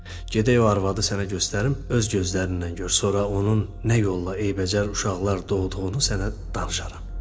Gedək o arvadı sənə göstərim, öz gözlərinlə gör, sonra onun nə yolla eybəcər uşaqlar doğduğunu sənə danışaram.